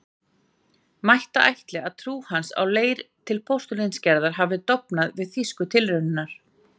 Mætti ætla, að trú hans á leirinn til postulínsgerðar hafi dofnað við þýsku tilraunirnar.